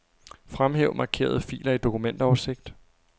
Fremhæv markerede filer i dokumentoversigt.